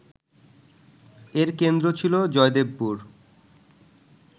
এর কেন্দ্র ছিল জয়দেবপুর